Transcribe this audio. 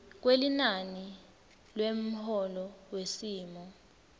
kwelinani lemholo wesimo